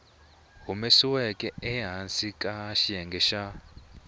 humesiweke ehansi ka xiyenge xa